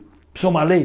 Precisa uma lei?